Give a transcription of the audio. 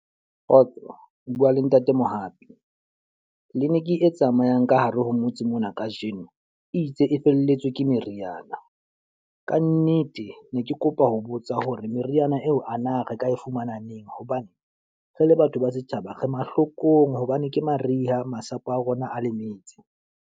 Kgotso, o bua le ntate Mohapi. Clinic e tsamayang ka hare ho motse mona ka jeno, e itse e felletswe ke meriana. Ka nnete ke ne ke kopa ho botsa hore meriana eo a na re ka e fumana neng? Hobane re le batho ba setjhaba, re mahlokong hobane ke mariha masapo a rona a lemetse.